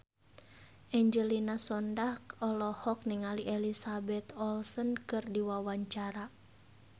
Angelina Sondakh olohok ningali Elizabeth Olsen keur diwawancara